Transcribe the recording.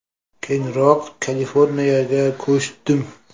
Keyinroq Kaliforniyaga ko‘chdim.